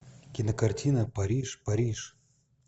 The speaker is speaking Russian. кинокартина париж париж